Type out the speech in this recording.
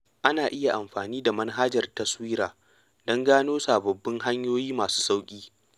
Ana iya amfani da manhajar taswira don gano sababbin hanyoyi masu sauƙi.